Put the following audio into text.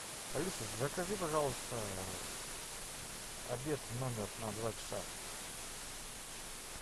алиса закажи пожалуйста обед в номер на два часа